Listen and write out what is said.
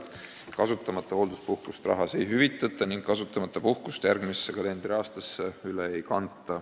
Kasutamata hoolduspuhkust rahas ei hüvitata ning kasutamata puhkust järgmisse kalendriaastasse üle ei kanta.